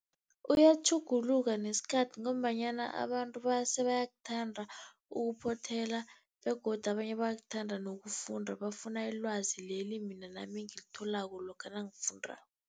Uyatjhuguluka nesikhathi, ngombanyana abantu sebayakuthanda ukuphothela, begodu abanye bayakuthanda nokufunda, bafuna ilwazi leli mina nami engilitholako lokha nangifundako.